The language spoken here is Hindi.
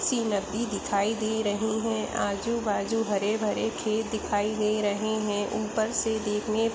सी नदी दिखाई दे रहीं है आजू - बाजू हरे - भरे खेत दिखाई दे रहे है ऊपर से देखने --